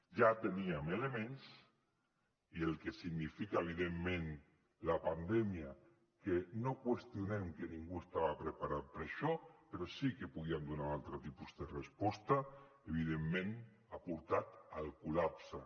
ja teníem elements i el que significa evidentment la pandèmia que no qüestionem que ningú estava preparat per a això però sí que podíem donar un altre tipus de resposta evidentment ha portat al col·lapse